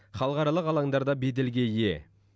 халықаралық алаңдарда беделге ие